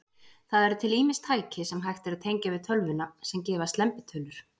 Það eru til ýmis tæki, sem hægt er að tengja við tölvuna, sem gefa slembitölur.